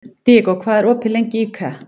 Diego, hvað er opið lengi í IKEA?